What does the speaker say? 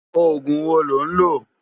Ógún wó ló n lö?